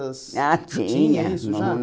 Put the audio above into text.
Ah, tinha. Tinha isso já